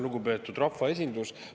Lugupeetud rahvaesindus!